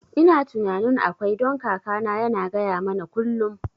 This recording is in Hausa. Ina tunanin akwai, don kakana yana gaya mana kullum